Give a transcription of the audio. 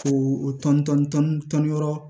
Ko tɔn tɔn tɔn yɔrɔ